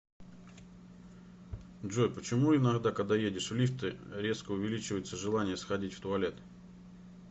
джой почему иногда когда едешь в лифте резко увеличивается желание сходить в туалет